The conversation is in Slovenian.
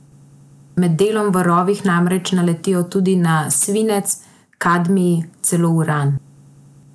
Med delom v rovih namreč naletijo tudi na svinec, kadmij, celo uran.